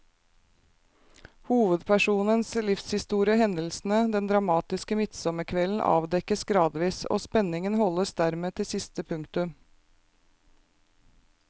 Hovedpersonens livshistorie og hendelsene den dramatiske midtsommerkvelden avdekkes gradvis, og spenningen holdes dermed til siste punktum.